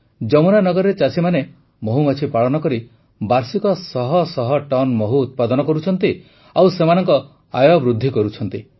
ଯମୁନାନଗରରେ ଚାଷୀମାନେ ମହୁମାଛି ପାଳନ କରି ବାର୍ଷିକ ଶହ ଶହ ଟନ୍ ମହୁ ଉତ୍ପାଦନ କରୁଛନ୍ତି ଓ ସେମାନଙ୍କ ଆୟ ବୃଦ୍ଧି କରୁଛନ୍ତି